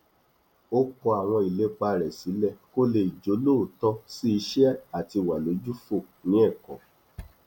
ó kọ àwọn ìlépa rẹ sílẹ kó lè jólóòtọ sí iṣẹ àti wà lójúfò ní ẹkọ